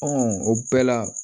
o bɛɛ la